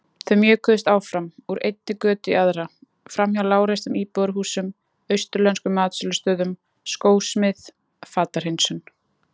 Þau mjökuðust áfram, úr einni götu í aðra, framhjá lágreistum íbúðarhúsum, austurlenskum matsölustöðum, skósmið, fatahreinsun.